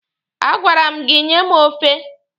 A gwara m gị nye m ofe!